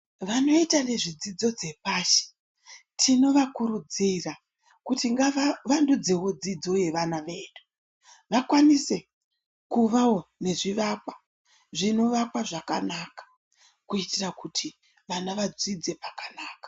Vanoita nezvedzidzo dzepashi tinovakurudzira kuti ngavavandudzewo dzidzo yevana vedu vakwanise kuvawo nezvivakwa zvinovakwa zvakanaka kuitira kuti vana vadzidze pakanaka.